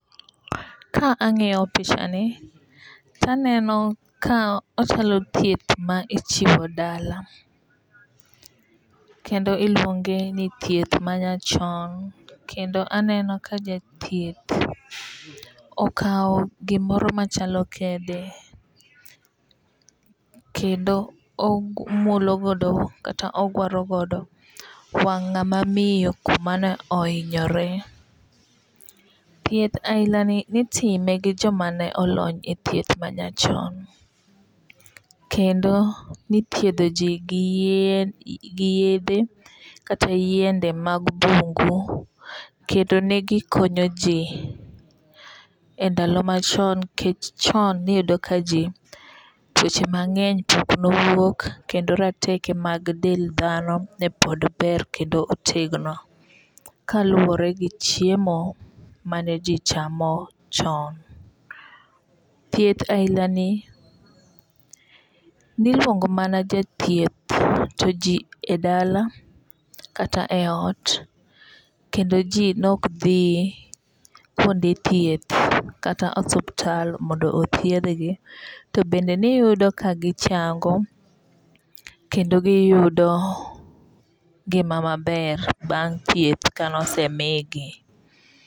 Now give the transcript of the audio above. Ka ang'iyo pichani taneno ka ochalo thieth ma ichiwo dala kendo iluonge ni thieth ma nya chon. Kendo aneno ka jathieth okaw gimoro machalo kede kendo omulogodo kata ogwaro godo wang' n'gama miyo kumane ihinyore. Thieth ahinani itime gi joma ne olony e thieth manyachon. Kendo nithiedho ji gi yedhe kata yiende mag bungu kendo negi konyo ji e ndalo machon nikech chon niyudo ka ji tuoche mang'eny pok nowuok kendo rateke mag del dhano ne pod ber kendo otegno kaluwore gi chiemo mane ji chamo chon. Thieth ahina ni niluongo mama jathieth to ji e dala kata e ot. Kendo ji nok dhi kuonde thieth kata osuptal mondo othiedh gi. To bende niyudo ka gichango kendo giyudo ngima maber bang' thieth kanosemigi.